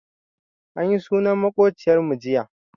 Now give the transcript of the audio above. Anyi sunan maƙociyar mu jiya.